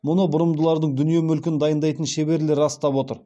мұны бұрымдылардың дүние мүлкін дайындайтын шеберлер растап отыр